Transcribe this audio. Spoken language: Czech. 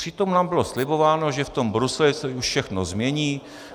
Přitom nám bylo slibováno, že v tom Bruselu se už všechno změní.